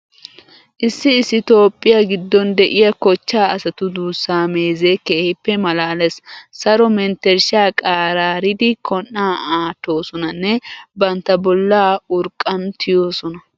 Issi issi toophphiya giddon de'iya kochchaa asatu duussaa meezee keehippe maalaalees. Saro menttershshaa qaraaridi kon"aa aattoosonanne bantta bollaa urqqan tiyoosona.